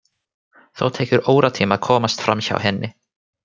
Þó tekur óratíma að komast framhjá henni.